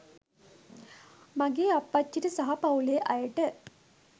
මගේ අප්පච්චිට සහ පවුලේ අයට.